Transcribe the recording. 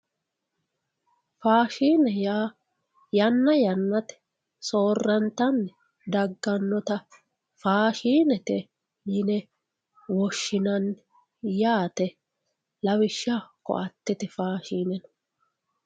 Faashine yaa yanna yannate soorantanni daganotta faashinete yine woshshinanni yaate lawishshaho koattete faashine.